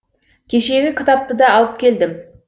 кешегі кітапты да алып келдім